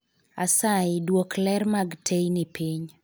Asayi duok ler mag teyni piny